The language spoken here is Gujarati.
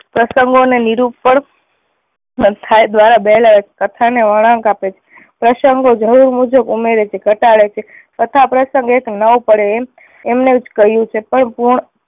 પ્રસંગો ને નિરૂપણ થાય દ્વારા વહેલાવે છે કથા ને વળાંક આપે છે. પ્રસંગો જરૂર મુજબ ઉમેરે છે ઘટાડે છે. કથા પ્રસંગ એક ન પડે એમ એમને જ કહ્યું છે પર પૂર્ણ